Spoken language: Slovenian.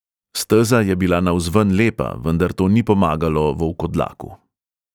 Steza je bila navzven lepa, vendar to ni pomagalo volkodlaku.